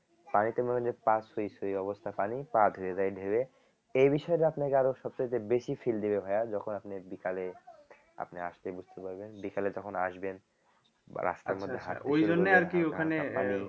পানিটা মনে হয় যে পা ছুঁই ছুঁই অবস্থা পানি পা ধুয়ে দেয় ঢেউয়ে এই আপনাকে আরও সবচাইতে বেশি feel দিবে ভাইয়া যখন আপনি বিকালে আপনি আসলেই বুঝতে পারবেন বিকালে তখন আসবেন বা রাস্তার মধ্যে